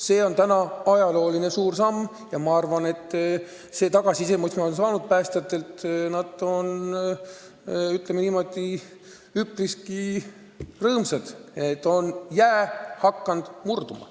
See on täna ajalooline samm ja ma olen päästjatelt saanud tagasisidet, et nad on üpriski rõõmsad, et jää on hakanud murduma.